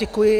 Děkuji.